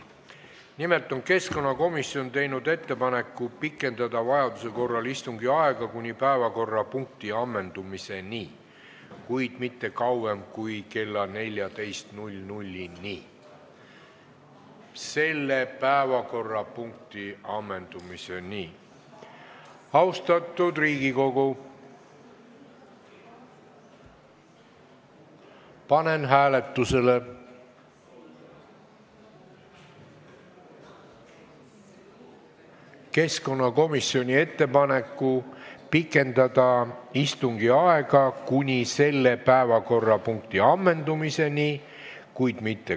Nimelt on keskkonnakomisjon teinud ettepaneku pikendada vajaduse korral istungi aega kuni päevakorrapunkti ammendumiseni, kuid mitte kauem kui kella 14-ni.